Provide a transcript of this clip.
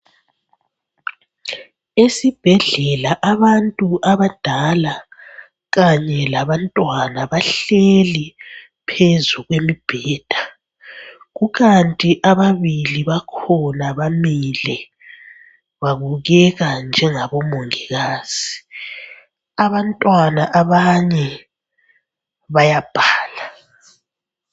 Isibhedlela abantu abadala kanye labantwana bahleli phezu kwemibheda kukanti ababili bakhona bamile babukeka njengabo mongikazi abantwana abanye bayabhala.